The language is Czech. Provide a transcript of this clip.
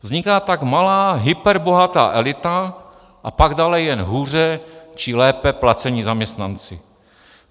Vzniká tak malá hyperbohatá elita a pak dále jen hůře či lépe placení zaměstnanci.